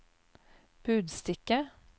budstikke